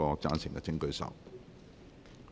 贊成的請舉手。